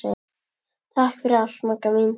Takk fyrir allt Magga mín.